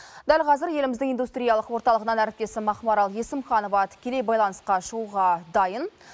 дәл қазір еліміздің индустриялық орталығынан әріптесім ақмарал есімханова тікелей байланысқа шығуға дайын